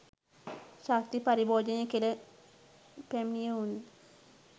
ශක්ති පරිභෝජනයේ කෙළ පැමිණියවුන්